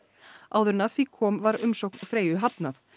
áður en að því kom var umsókn Freyju hafnað